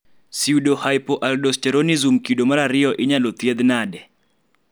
pseudohypoaldosteronism kido mar ariyo inyal thiedhi nade?